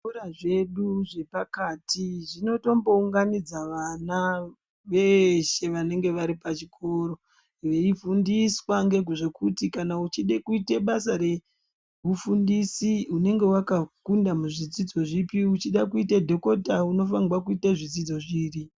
Zvikora zvedu zvepakati zvinotombounganidza vana veeshe vanenge vari pachikoro ,veifundiswa ngezvekuti kana uchide kuite basa reufundisi, unenge wakakunda muzvidzidzo zvipi, uchide kuite dhokota unofanirwa kuita zvidzidzo zviri.